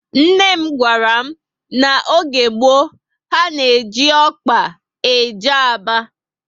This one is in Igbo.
Nne m gwara m na n'oge gboo, ha na eji ọkpa eje Aba